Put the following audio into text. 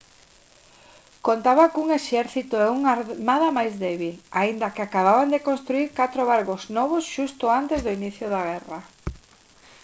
contaba cun exército e unha armada máis débil aínda que acababan de construír catro barcos novos xusto antes do inicio da guerra